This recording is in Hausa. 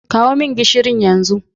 Kawo min gishirin yanzu.